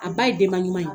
A ba ye denba ɲuman ye